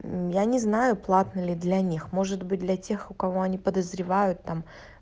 мм я не знаю платно ли для них может быть для тех у кого они подозревают там